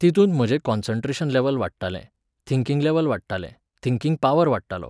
तितूंत म्हाजें concentration level वाडटालें, थिंकिंग लॅव्हल वाडटालें, थिंकिंग पावर वाडटालो.